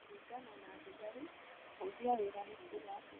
Kũringana na thigarĩ ,kũhũthia wĩra nĩ kũũga atĩa?